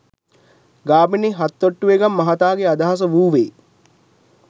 ගාමිණී හත්තොටුවේගම මහතාගේ අදහස වූවේ